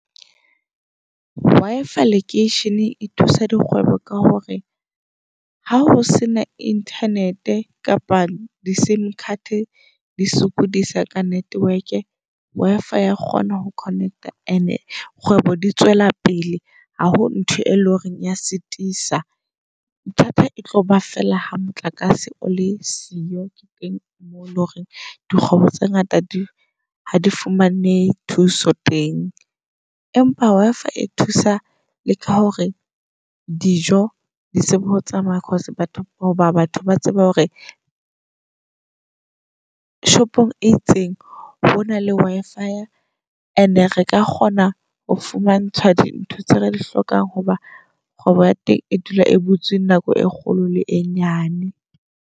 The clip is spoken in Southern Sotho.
Wi-Fi lekeisheneng e thusa dikgwebo ka hore ha ho se na internet-e kapa di-sim card di sokodisa ka network-e Wi-Fi ya kgona ho connect-a and-e kgwebo di tswela pele. Ha ho ntho e leng horeng ya sitisa. Bothata e tlo ba fela ha motlakase o le siyo. Ke teng moo leng hore dikgwebo tse ngata di ha di fumane thuso teng. Empa Wi-Fi e thusa le ka hore dijo di tsebe ho tsamaya. Cause batho hoba batho ba tsebe hore shop-ong e itseng ho na le Wi-Fi and-e re ka kgona ho fumantshwa dintho tse re di hlokang hoba kgwebo ya teng e dula e butse nako e kgolo le e nyane.